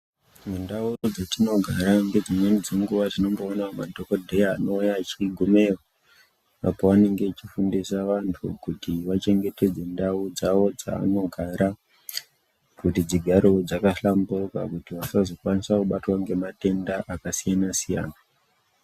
Mundau dzatinogara ngedzimweni dzenguwa tinomboona madhokodheya anouya achigumeyo apa vanenge vachifundisa vantu kuti vachengetedze ndau dzavo dzavanogara, kuti dzigarewo dzaka hlamburuka, kuti vasazokwanisa kubatwa ngematenda akasiyana-siyana.